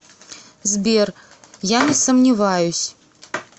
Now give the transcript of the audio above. сбер я не сомневаюсь